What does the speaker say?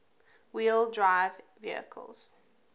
wheel drive vehicles